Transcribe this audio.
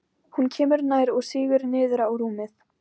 Hún kemur nær og sígur niður á rúmið.